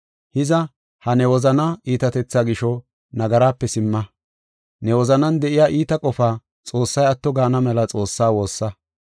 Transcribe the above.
Hiza, ha ne wozana iitatetha gisho nagarape simma. Ne wozanan de7iya iita qofa Xoossay atto gaana mela Xoossaa woossa.